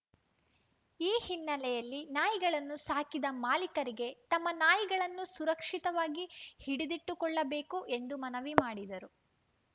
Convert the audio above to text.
ಈ ಹಿನ್ನೆಲೆಯಲ್ಲಿ ನಾಯಿಗಳನ್ನು ಸಾಕಿದ ಮಾಲೀಕರಿಗೆ ತಮ್ಮ ನಾಯಿಗಳನ್ನು ಸುರಕ್ಷಿತವಾಗಿ ಹಿಡಿದಿಟ್ಟುಕೊಳ್ಳಬೇಕು ಎಂದು ಮನವಿ ಮಾಡಿದರು